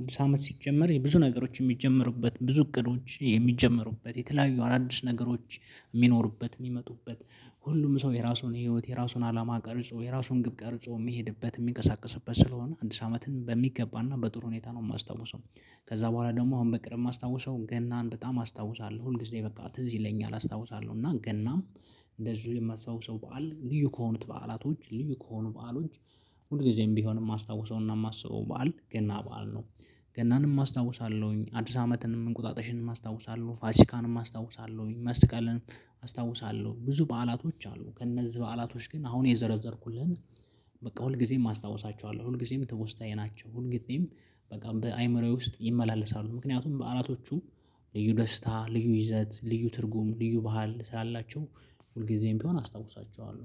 አዲስ አመት ሲጀመር የብዙ ነገሮች የሚጀምሩበት ብዙ እቅዶች የሚጀምሩበት የተለያዩ አናዲስ ነገሮች የሚኖሩበት የሚመጡበት ሁሉም ሰው የራሱን ህይወት የራሱን አላማ ቀርጾ የራሱን ግብ ቀርጾ የሚሄድበት የሚቀሳቀስበት ስለሆነ አንድ ሳምንትን በሚገባና በጥሩ ሁኔታ ነው የማስታውሰው። ከዛ በኋላ ደግሞ አሁን በቅርብ የማስታውሰው ገናን በጣም አስታውሳለሁ። ሁልጊዜ በቃ ትዝ ይለኛል። አስታውሳለሁ። እና ገናም እንደዚሁ የማስታውሰው በዓል ልዩ ከሆኑት በዓላቶች ልዩ ከሆኑ በዓሎች ሁል ጊዜም ቢሆንም ማስታውሰውና የማስበው በዓል ገና በዓል ነው። ገናንም አስታውሳለሁኝ፣ አዲስ አመትንም እንቁጣጣሽንም አስታውሳለሁኝ፣ ፋሲካንም አስታውሳለሁኝ፣ መስቀልንም፣ አስታውሳለሁኝ ብዙ በዓላቶች አሉ። ከእነዚህ በዓላቶች ግን አሁን የዘረዘርኩልህን በቃ ሁልጊዜም አስታውሳቸዋለሁ። ሁልጊዜም ትውስታዬ ናቸው። ሁልጊዜም በጣም በአእምሮዬ ውስጥ ይመላለሳሉ ምክንያቱም በአላቶቹ ልዩ ደስታ፣ ልዩ ይዘት፣ ልዩ ትርጉም፣ ልዩ ባህል ስላላቸው ሁልጊዜም ቢሆን አስታውሳቸዋለሁ።